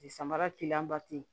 Samara